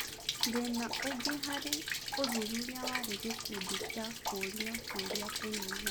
Thĩna ũgĩ harĩ ũthuthuria warĩ gĩkundi gĩa kũũrio ciũria kũnyĩha.